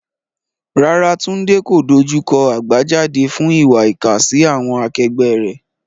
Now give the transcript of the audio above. Rárá, Tunde kò dojú kọ àbájáde fún ìwà ìkà sí àwọn akẹgbẹ́ rẹ̀.